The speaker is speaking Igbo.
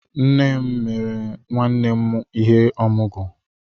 Nné m mere nwanne m ihe ọmụgwọ